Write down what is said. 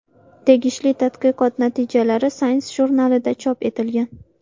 Tegishli tadqiqot natijalari Science jurnalida chop etilgan .